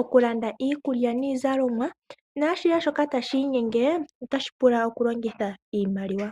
okulanda iikulya nashihe shoka tashi inyenge tashi pula oku longitha iimaliwa.